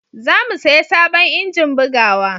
zamu saya sabon injin bugawa